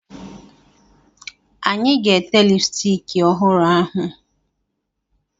Anyị ga-ete lipstiki ọhụrụ ahụ.